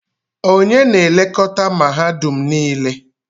Onye na-elekọta mahadum niile?